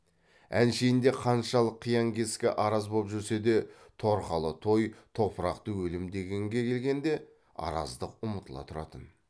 әншейінде қаншалық қиян кескі араз боп жүрсе де торқалы той топырақты өлім дегенге келгенде араздық ұмытыла тұратын